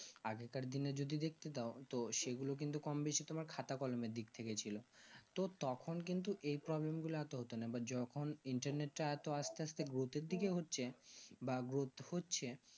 আগেকার দিনে যদি দেখতে যায় তো সেগুলো কিন্তু কম বেশি তোমার খাতা কলমের দিকথেকে ছিল তো তখন কিন্তু এই problem গুলা এত হতো না বা যখন internet তা এত আস্তে আস্তে গুরুত্ব দেওয়া হচ্ছে বা গুরুত্ব হচ্ছে